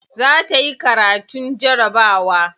Za ta yi karatun jarabawa.